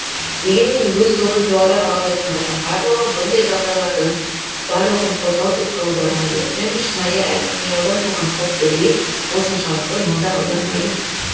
дегенмен өз тобын жоғары бағалайтындардың барлығы бұндай жағдайлардың барлығын қорлау деп қабылдамайды және шынайы әрі қиялдан туған қауіптерге осыншалықты назар аудармайды